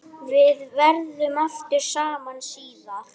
Við verðum aftur saman síðar.